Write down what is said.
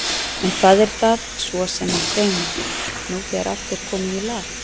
En hvað er það svo sem mig dreymir, nú þegar allt er komið í lag?